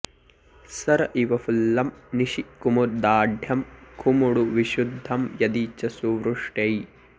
सर इव फुल्लं निशि कुमुदाढ्यं खमुडुविशुद्धं यदि च सुवृष्ट्यै